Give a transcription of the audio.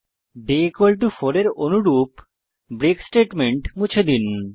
day 4 এর অনুরূপ break statement মুছে দিন